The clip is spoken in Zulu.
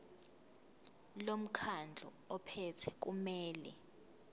lomkhandlu ophethe kumele